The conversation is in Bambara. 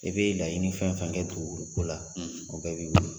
I bɛ laɲini fɛn fɛn kɛ dugukolo ko la o bɛ b'i bolo